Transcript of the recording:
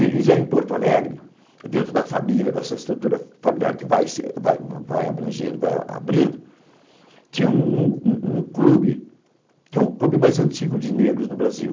E já em Porto Alegre, dentro da família, dessa estrutura familiar que vai se vai abrangendo, vai abrindo, tinha um clube, que é o clube mais antigo de negros do Brasil.